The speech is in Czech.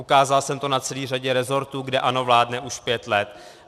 Ukázal jsem to na celé řadě resortů, kde ANO vládne už pět let.